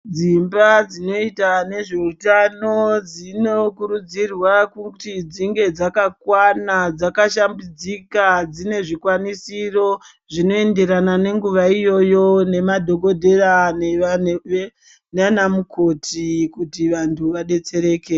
Dzimba dzinoita nezvewutano dzinokurudzirwa kuti dzinge dzakakwana, dzakashambidzika, dzinezvikwanisiro zvinoyenderana nenguva iyoyo nemadhokodheya nanamukoti kuti vantu vadetsereke.